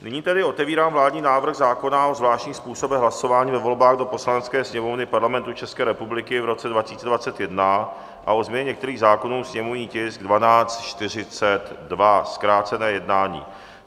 Nyní tedy otevírám vládní návrh zákona o zvláštních způsobech hlasování ve volbách do Poslanecké sněmovny Parlamentu České republiky v roce 2021 a o změně některých zákonů, sněmovní tisk 1242, zkrácené jednání.